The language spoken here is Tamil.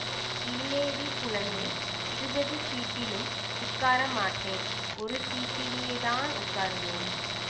இல்லேடி குழந்தை இருபது ஸீட்டிலும் உட்கார மாட்டேன் ஒரு ஸீட்டிலே தான் உட்காருவேன்